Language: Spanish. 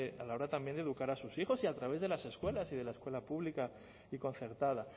a la hora también de educar a sus hijos y a través de las escuelas y de la escuela pública y concertada